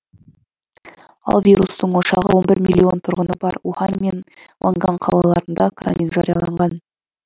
ал вирустың ошағы он бір миллион тұрғыны бар ухань мен хуанган қалаларында карантин жарияланған